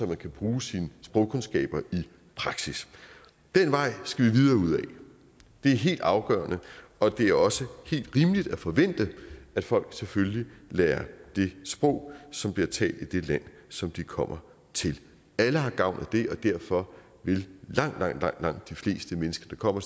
man kan bruge sine sprogkundskaber i praksis den vej skal vi videre ud ad det er helt afgørende og det er også helt rimeligt at forvente at folk selvfølgelig lærer det sprog som bliver talt i det land som de kommer til alle har gavn af det og derfor vil langt langt de fleste mennesker der kommer